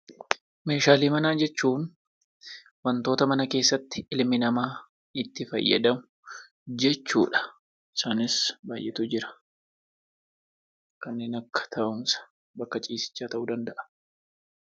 Meeshaalee manaa jechuun wantoota mana keessatti ilmi namaa itti fayyadamu jechuu dha. Isaanis baay'eetu jira. Kanneen akja taa'umsa, bakka ciisichaa ta'uu danda'a.